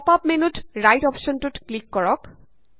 pop up মেন্যুত right অপশ্যনটোত click কৰক